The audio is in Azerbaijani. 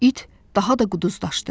İt daha da quduzlaşdı.